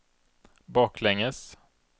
baklänges